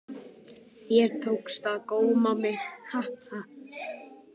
Þér tókst ekki að góma mig.